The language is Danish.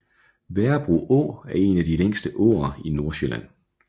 Værebro Å er en af de længste åer i Nordsjælland